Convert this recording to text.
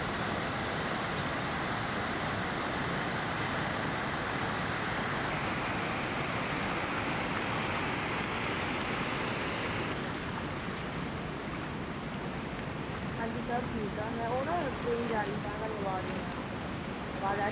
ਹਾਂਜੀ ਸਭ ਠੀਕ ਆ ਮੈਂ ਉਹ ਨਾ train ਜਾ ਰਹੀ ਸੀ ਤਾਂ ਤੁਹਾਨੂੰ ਆਵਾਜ਼ ਨੀ ਆਉਣੀ ਸੀ, ਆਵਾਜ਼ ਆ